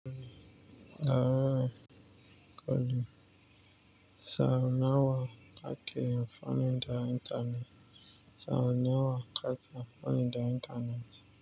Tau nawa ake faninta intanet. Sara nawa kaka faninta intanet.